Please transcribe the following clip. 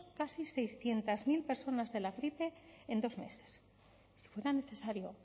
casi seiscientos mil personas de la gripe en dos meses si fuera necesario